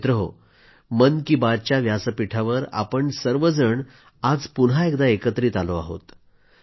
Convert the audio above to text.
मित्रांनो मन की बात च्या व्यासपीठावर आपण सर्वजण आज पुन्हा एकदा एकत्रित आलो आहोत